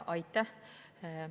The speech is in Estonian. Aitäh!